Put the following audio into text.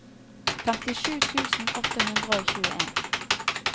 femtisju tusen åtte hundre og tjueen